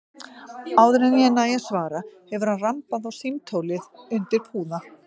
Áður en ég næ að svara hefur hann rambað á símtólið undir púða.